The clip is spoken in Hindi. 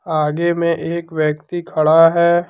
आगे में एक व्यक्ति खड़ा है।